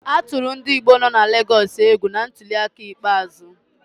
A tụrụ ndị Igbo nọ na Legọs egwu na ntuliaka ikpeazụ.